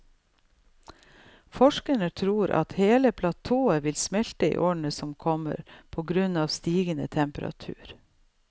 Forskerne tror at hele platået vil smelte i årene som kommer på grunn av stigende temperatur.